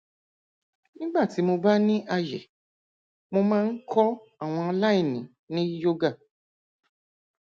nígbà tí mo bá ní àyè mo máa ń kọ àwọn aláìní ní yoga